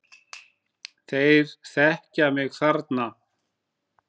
Þeir þekkja mig þarna.